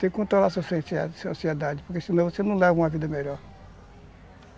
Tem que controlar a sua ansiedade, porque senão você não leva uma vida melhor.